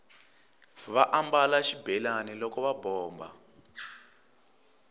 va ambala xibelani loko va bomba